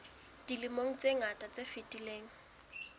dilemong tse ngata tse fetileng